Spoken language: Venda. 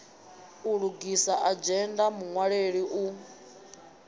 u lugisa adzhenda muṅwaleli u